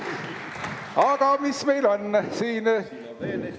Aga mis meil siin on?